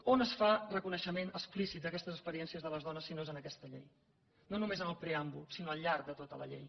on es fa reconeixement explícit d’aquestes experiències de les dones si no és en aquesta llei no només en el preàmbul sinó al llarg de tota la llei